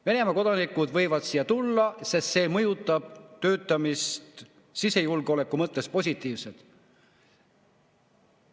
Venemaa kodanikud võivad siia tulla, sest see mõjutab töötamist sisejulgeoleku mõttes positiivselt!